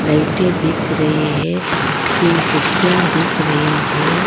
लाइटें दिख रही है तीन खिड़कियां दिख रही है।